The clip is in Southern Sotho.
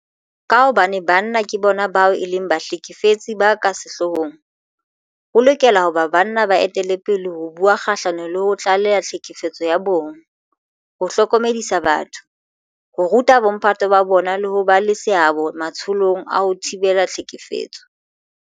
Ka hobane banna ke bona bao e leng bahlekefetsi ba ka sehloohong, ho lokela ho ba banna ba etellang pele ho bua kgahlano le ho tlaleha tlhekefetso ya bong, ho hlokomedisa batho, ho ruta bomphato ba bona le ho ba le seabo matsholong a ho thibela tlhekefetso.